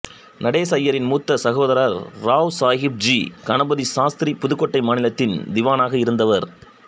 நடேச ஐயரின் மூத்த சகோதரர் ராவ் சாகிப் ஜி கணபதி சாஸ்திரி புதுக்கோட்டை மாநிலத்தின் திவானாக இருந்தவர்